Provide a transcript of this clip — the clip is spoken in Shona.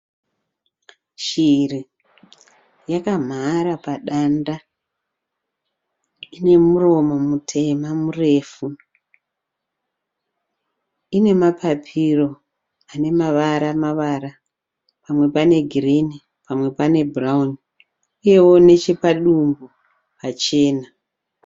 Shiri yakamhara padanda, ine muromo mutema murefu, ine mapapiro ane mavara mavara, pamwe pane ghirini pamwe pane bhurauni, inewo nechepadumbu pachena.